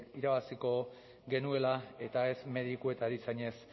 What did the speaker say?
irabaziko genuela eta ez mediku eta erizainez